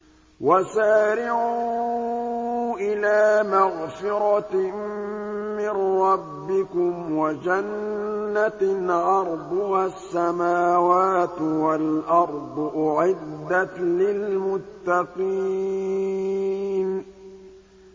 ۞ وَسَارِعُوا إِلَىٰ مَغْفِرَةٍ مِّن رَّبِّكُمْ وَجَنَّةٍ عَرْضُهَا السَّمَاوَاتُ وَالْأَرْضُ أُعِدَّتْ لِلْمُتَّقِينَ